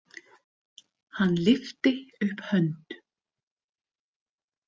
Hann lyfti upp hönd.